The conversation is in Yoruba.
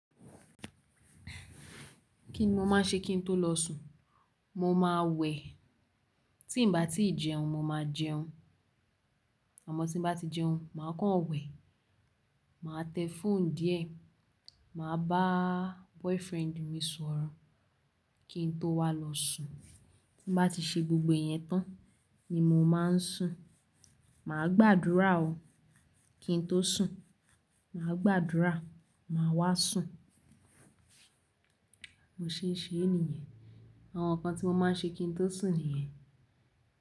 Kí ni mo máa ń ṣe kí n tó lọ sùn? Mo máa wẹ̀, tí ń bá tí ì jẹun, mo máa jẹun, àmọ́ tí bá ti jẹun, màá kán wẹ̀. Màá tẹ fóònù díẹ̀, màá bá boyfriend mi sọ̀rọ̀ kí n tó wá lọ sùn. Tí m bá ti ṣe gbogbo iyẹn tán ni mo máa ń sùn. Mà á gbàdúrà o kí n tó sùn, mà á gbàdúrà, mà á wá sùn. Bí mo ṣe é ṣe níyen, àwọn nǹkan tí mo máa ń ṣe kí n tó sùn nìyẹn.